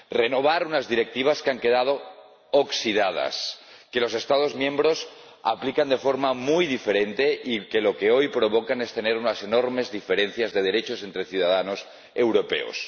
Renovar unas Directivas que han quedado oxidadas, que los Estados miembros aplican de forma muy diferente y que lo que hoy provocan es tener unas enormes diferencias de derechos entre ciudadanos europeos.